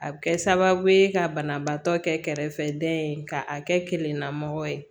A bɛ kɛ sababu ye ka banabaatɔ kɛ kɛrɛfɛdɛn ka a kɛ keningana ye